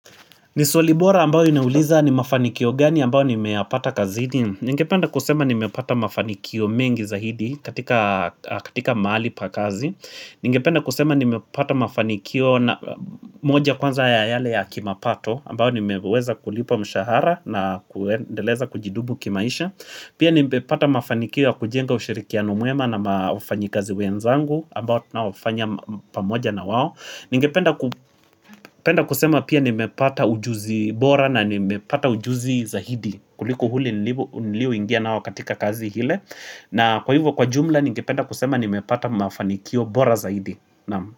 Ni swali bora ambayo inauliza ni mafanikio gani ambayo nimeyapata kazini Ningependa kusema nimepata mafanikio mengi zaidi katika mahali pa kazi Ningependa kusema nime pata mafanikio moja kwanza ya yale ya kimapato ambayo nimeweza kulipa mshahara na kuendeleza kujidubu kimaisha Pia nimepata mafanikio ya kujenga ushirikiano mwema na wafanyikazi wenzangu ambao tunaofanya pamoja na wao Ningependa kusema pia nimepata ujuzi bora na nimepata ujuzi zaidi kuliko ule nilio ingia nao katika kazi ile na kwa hivyo kwa jumla ningependa kusema nimepata mafanikio bora zaidi naam.